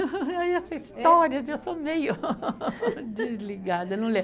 Essa história, eu sou meio desligada, não